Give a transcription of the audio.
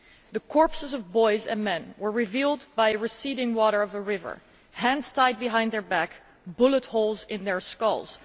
The corpses of boys and men were revealed by the receding waters of a river, hands tied behind their backs, bullet holes in their skulls.